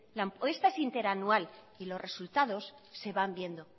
la apuesta es interanual y los resultados se van viendo